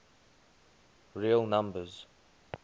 real numbers